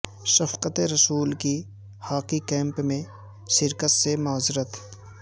شفقت رسول کی hockey camp میں شرکت سے معذرت